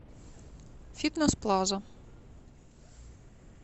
фитнес плаза